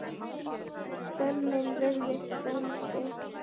Skömmin virðist bóndi.